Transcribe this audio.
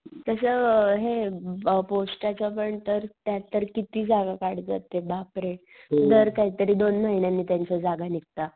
तस हे पोस्टाच्या पण तर त्या तर किती जागा काढतात बापरे. काय तरी दोन महिन्यांनी त्यांच्या जागा निघतात.